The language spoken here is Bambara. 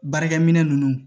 Baarakɛ minɛ ninnu